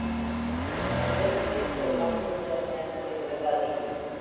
मिरज ते सोलापूर दरम्यान रेल्वेगाडी